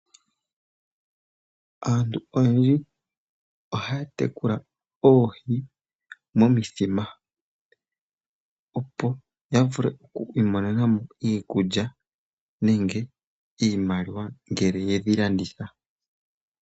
Aantu oyendji ohaya tekula oohi momithima, opo ya vule oku imonena mo iikulya nenge iimaliwa ngele ye dhi landitha.